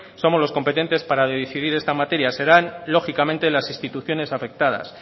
somos los competentes para decidir en esta materia serán lógicamente las instituciones afectadas